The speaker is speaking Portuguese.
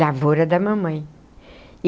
Lavoura da mamãe.